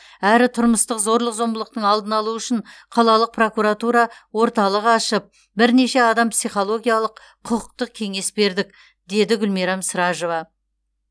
әрі тұрмыстық зорлық зомбылықтың алдын алу үшін қалалық прокуратура орталық ашып бірнеше адам психологиялық құқықтық кеңес бердік деді гүлмирам сражова